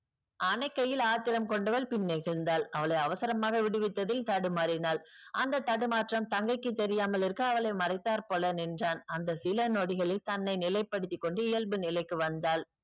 அணைக்கையில் ஆத்திரம் கொண்டவள் பின்னே சென்றால் அவளை அவசரமாக விடுவித்ததில் தடுமாறினால் அந்த தடுமாற்றம் தங்கைக்கு தெரியாமலிருக்க அவளை மறைத்தார்போல நின்றான் அந்த சில நொடிகளில் தன்னை நிலைப்படுத்திக்கொண்டு இயல்பு நிலைக்கு வந்தால்